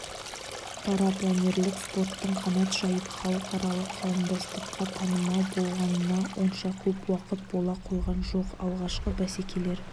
парапланерлік спорттың қанат жайып халықаралық қауымдастыққа танымал болғанына онша көп уақыт бола қойған жоқ алғашқы бәсекелер